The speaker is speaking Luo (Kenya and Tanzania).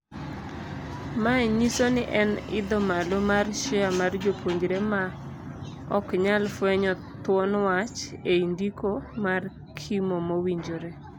Mae nyisoni en idho malo mar share mar jopuonjre maoknyal fwenyo thuon wach ei ndiko mar kimo mawinjore.